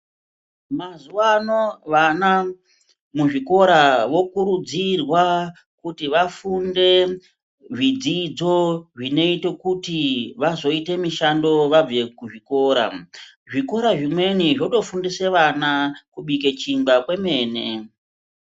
Mazuva ano vana muzvikora vokurudzirwa kuti vafunde zvidzidzo zvinoite kuti vazoite mishando vabve kuzvikora. Zvikora zvimweni zvotofundise vana kubike chingwa kwemene.